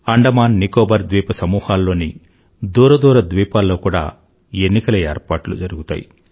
అండమాన్ నికోబార్ ద్వీప సమూహాల్లోని దూర దూర ద్వీపాల్లో కూడా ఎన్నికల ఏర్పాట్లు జరుగుతాయి